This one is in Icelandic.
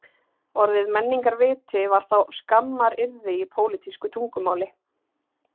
Orðið menningarviti var þá skammaryrði í pólítísku tungumáli